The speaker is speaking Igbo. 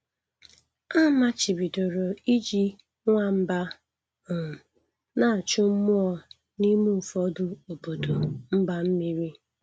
A machibidoro iji nwamba um na-achụ mmụọ n'ime ụfọdụ obodo mba mmiri.